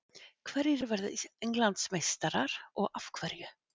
Hverjir verða Englandsmeistarar og af hverju?